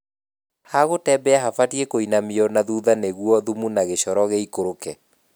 Ha gũtembea habatie kũinamio nathutha nĩguo thumu na gĩshoro gĩikũrũke